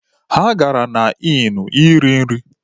Ha gara na Ịnụ iri nri.